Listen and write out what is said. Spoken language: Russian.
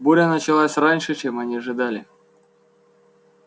буря началась раньше чем они ожидали